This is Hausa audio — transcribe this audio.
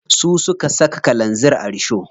Su suka saka kalanzir a risho.